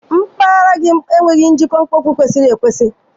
Mpaghara gị enweghị njikwa mkpofu kwesịrị ekwesị.